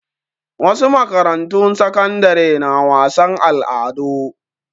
Wasu makarantu sakandare na wasan al'adu.